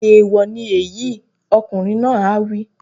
Èèwọ̀ ni èyí! Ọkùnrin náà á wí.